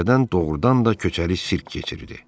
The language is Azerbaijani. Küçədən doğurdan da köçəri sirk keçirdi.